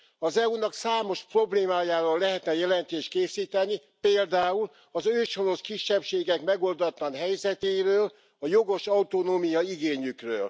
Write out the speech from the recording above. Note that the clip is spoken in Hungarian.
Az EU nak számos problémájáról lehetne jelentést készíteni, például az őshonos kisebbségek megoldatlan helyzetéről, a jogos autonómiaigényükről.